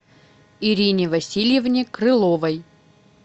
ирине васильевне крыловой